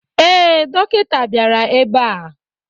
Ee, dọkịta bịara ebe a.